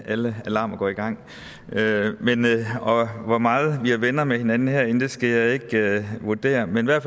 alle alarmer går i gang hvor meget venner med hinanden herinde skal jeg ikke vurdere men jeg